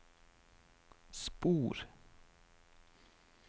spor